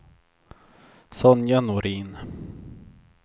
Sonja Norin